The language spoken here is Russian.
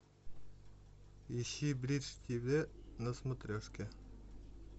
ищи бридж тв на смотрешке